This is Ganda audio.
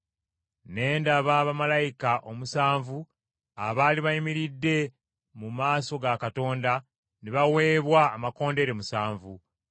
Ne ndaba bamalayika omusanvu abaali bayimiridde mu maaso ga Katonda ne baweebwa amakondeere musanvu.